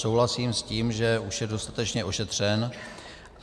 Souhlasím s tím, že už je dostatečně ošetřen.